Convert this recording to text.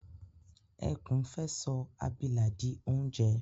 Ẹkún fẹ́ sọ abilà di oúnjẹ